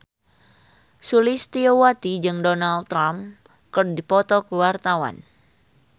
Sulistyowati jeung Donald Trump keur dipoto ku wartawan